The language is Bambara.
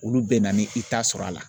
Olu bɛ na ni i ta sɔrɔ a la.